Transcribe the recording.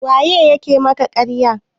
waye ya ke maka ƙarya?